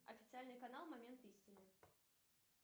официальный канал момент истины